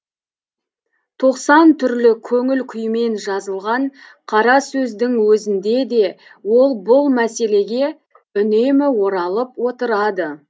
тоқсан түрлі көңіл күйімен жазылған қарасөздің өзінде де ол бұл мәселеге үнемі оралып отырады